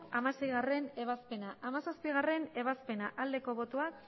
hamaseigarrena ebazpena hamazazpigarrena ebazpena aldeko botoak